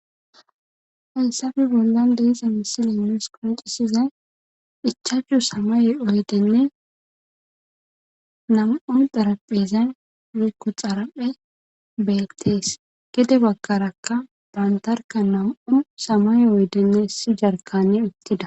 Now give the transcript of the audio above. Haysappe bollan de'iza misile nus qoncisizay ichachu samaye oyideyne nam'u xarapheza woykon xaraphey betes gede bagara nam'u samaye oyideyne issi jarkaney uttida